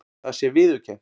Það sé viðurkennt